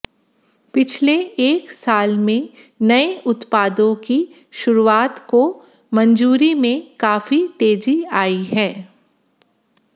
पिछले एक साल में नए उत्पादों की शुरुआत को मंजूरी में काफी तेजी आई है